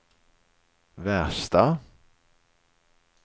värsta